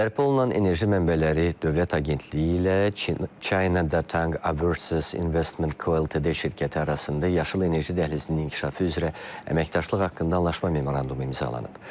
Bərpa olunan enerji mənbələri Dövlət Agentliyi ilə China Datang Overseas Investment Co Ltd şirkəti arasında yaşıl enerji dəhlizinin inkişafı üzrə əməkdaşlıq haqqında anlaşma memorandumu imzalanıb.